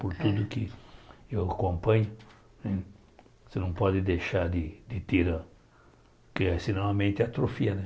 Por tudo que eu acompanho, né você não pode deixar de de tirar, porque senão a mente atrofia